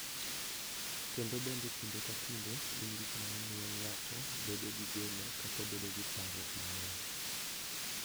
Kendo bende kinde ka kinde gin gik ma miyo ng’ato bedo gi geno kata bedo gi parruok mang’eny.